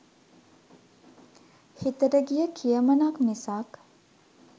හිතට ගිය "කියමනක්" මිසක්